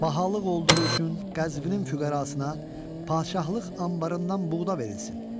Bahalıq olduğu üçün Qəzvinin füqərasına padşahlıq anbarından buğda verilsin.